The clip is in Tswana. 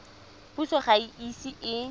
puso ga e ise e